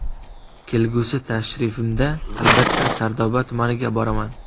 Kelgusi tashrifimda albatta Sardoba tumaniga boraman.